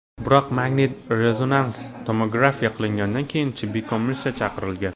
Biroq magnit-rezonans tomografiya qilingandan keyin tibbiy komissiya chaqirilgan.